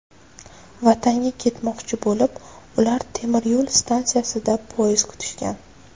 Vatanga ketmoqchi bo‘lib, ular temiryo‘l stansiyasida poyezd kutishgan.